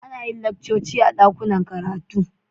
Ana yin laccoci a dakunan karatu.